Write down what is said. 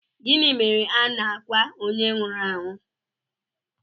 Gịnị mere na a na-akwa onye nwụrụ anwụ